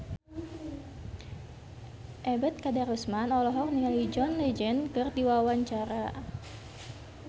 Ebet Kadarusman olohok ningali John Legend keur diwawancara